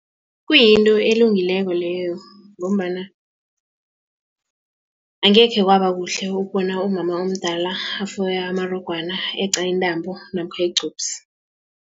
Kuyinto elungileko leyo ngombana angekhe kwaba kuhle ukubona umama omdala afoya amarogwana eqa intambo namkha igcubusi.